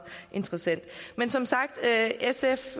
interessant men som sagt er sf